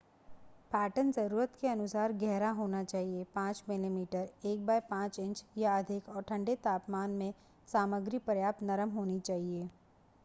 Pattern जरुरत के अनुसार गहरा होना चाहिए 5 मिमी 1/5 इंच या अधिक और ठंडे तापमान में सामग्री पर्याप्त नरम होनी चाहिए ।